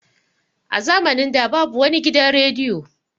A zamanin da babu wani gidan rediyo.